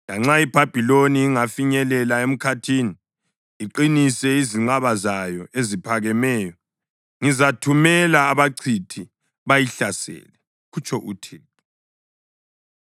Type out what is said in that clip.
Lanxa iBhabhiloni ingafinyelela emkhathini iqinise izinqaba zayo eziphakemeyo, ngizathumela abachithi bayihlasele,” kutsho uThixo.